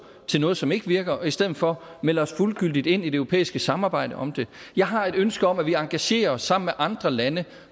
til noget som ikke virker men i stedet for melder os fuldgyldigt ind i det europæiske samarbejde om det jeg har et ønske om at vi engagerer os sammen med andre lande